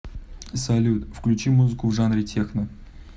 салют включи музыку в жанре техно